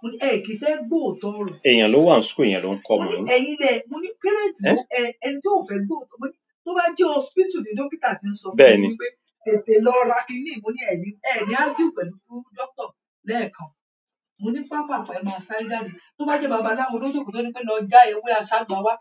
mo ní ẹ kìí fẹ́ gbọ́ òótọ́ ọ̀rọ̀. Ẹ̀èyan ló wà ní school èèyàn ló ń kọ́ ọmọ. Mo ní ẹ̀yin lẹ̀, mo ní parents lo ẹ, ẹni tí ò fẹ́ gbọ́ òt- mo ní tó bá jẹ́ hospital ni dókítà tí ń sọ fún mi (bẹ́ẹ̀ni) pé. Tètè lọ ra kinni yìí, mo ní ẹ ní, ẹ ní argue pẹ̀lú doctor lẹ́ẹ̀kan. Mo ní pàápàá ẹ máa sáré jáde. Tó bá jẹ́ babaláwo ló jòkòó, ló ní pé lọ já ewé aṣágba wá.